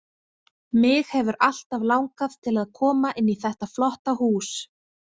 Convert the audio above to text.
Mig hefur alltaf langað til að koma inn í þetta flotta hús